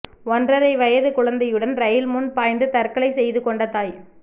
ஒன்றரை வயதுக் குழந்தையுடன் ரயில் முன் பாய்ந்து தற்கொலை செய்து கொண்ட தாய்